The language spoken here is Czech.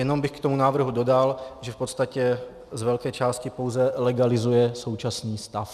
Jenom bych k tomu návrhu dodal, že v podstatě z velké části pouze legalizuje současný stav.